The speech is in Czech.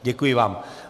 Děkuji vám.